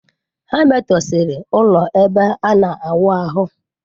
Ha metọsịrị ụlọ ebe ana awụ ahụ.